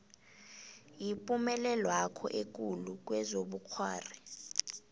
yipumelelwakho ekulu kezobukghwari